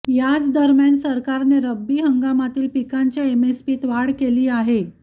याचदरम्यान सरकारने रब्बी हंगामातील पिकांच्या एमएसपीत वाढ केली आहे